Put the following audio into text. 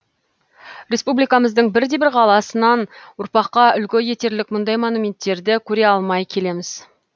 республикамыздың бірде бір қаласынан ұрпаққа үлгі етерлік мұндай монументтерді көре алмай келеміз